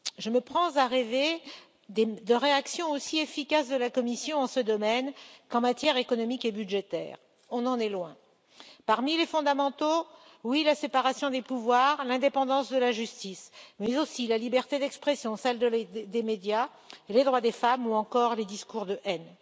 Je me prends à rêver de réactions aussi efficaces de la Commission en ce domaine qu'en matière économique et budgétaire. On en est loin. Parmi les fondamentaux la séparation des pouvoirs, l'indépendance de la justice, mais aussi la liberté d'expression, celle des médias, les droits des femmes, ou encore les discours de haine.